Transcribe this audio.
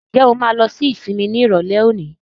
Ǹjẹ́ o máa lọ sí sinimá ní Ìrọ̀lẹ́ òní?